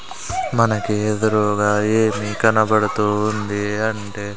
మనకీ ఎదురూగా ఏమీ కనబడుతూ ఉంది అంటే--